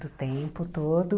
Do tempo todo.